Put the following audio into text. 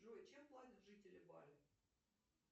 джой чем платят жители бали